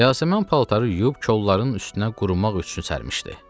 Yasəmən paltarı yuyub kolların üstünə qurumaq üçün sərmişdi.